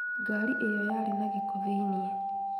Ngari ĩyo yarĩ na gĩko thĩiniĩ